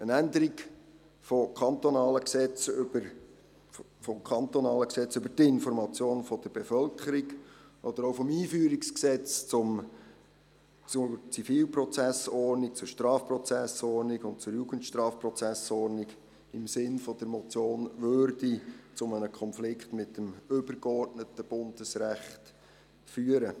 Eine Änderung des kantonalen Einführungsgesetzes zur Zivilprozessordnung, zur Strafprozessordnung und zur Jugendstrafprozessordnung (EG ZSJ) im Sinne der Motion würde zu einem Konflikt mit dem übergeordneten Bundesrecht führen.